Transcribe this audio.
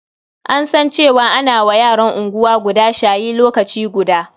An san cewa ana wa yaran unguwa guda shayi lokaci guda.